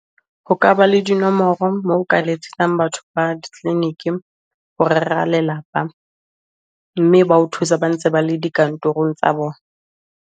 Ho ka ba le dinomoro moo o ka letsetsang batho ba di clinic-i ho rera lelapa, mme ba o thusa ba ntse ba le dikantorong tsa bona.